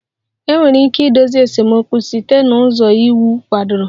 Enwere ike idozi esemokwu site n'ụzọ iwu kwadoro